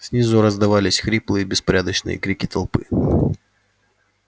снизу раздавались хриплые беспорядочные крики толпы